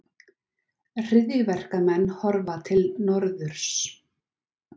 Hryðjuverkamenn horfa til norðurs